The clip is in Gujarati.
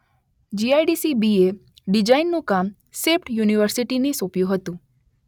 જી_શબ્દ આઇ_શબ્દ ડી_શબ્દ સી_શબ્દ બી_શબ્દ એ ડિઝાઈનનું કામ સેપ્ટ યુનિવર્સીટીને સોપ્યું હતું.